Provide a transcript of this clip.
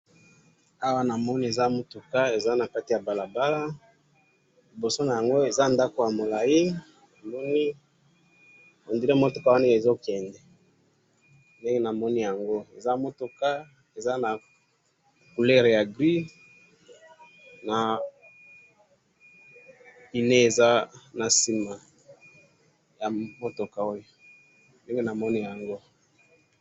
Awa namoni Eza mutuka Eza na kati ya balabala, liboso yango Eza ndaku ya molayi, namoni, on dirait mutuka wana ezo kende ndenge namoni yango. Eza mutuka, Eza na couleur ya gris na pine Eza na sima ya mutuka oyo, ndenge namoni yango.